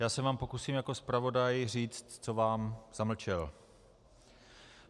Já se vám pokusím jako zpravodaj říct, co vám zamlčel.